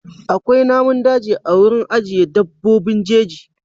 Akwai namun daji a wurin ajiyar dabbobin jeji.